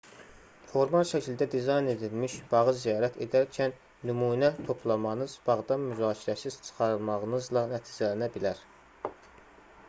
formal şəkildə dizayn edilmiş bağı ziyarət edərkən nümunə toplamanız bağdan müzakirəsiz çıxarılmağınızla nəticələnə bilər